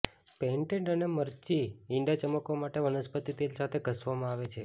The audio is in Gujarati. પેઇન્ટેડ અને મરચી ઇંડા ચમકવા માટે વનસ્પતિ તેલ સાથે ઘસવામાં આવે છે